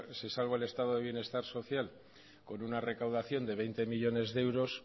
se salva el estado de bienestar social con una recaudación de veinte millónes de euros